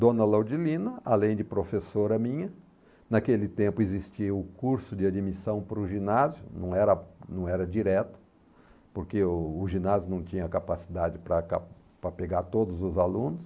Dona Laudilina, além de professora minha, naquele tempo existia o curso de admissão para o ginásio, não era não era direto, porque o ginásio não tinha capacidade para ca para pegar todos os alunos,